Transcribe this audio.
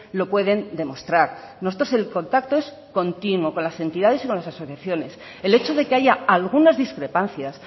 lo pueden demostrar nosotros el contacto es continuo con las entidades y con las asociaciones el hecho de que haya algunas discrepancias